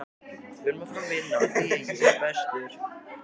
En í hvað eiga peningarnir að fara?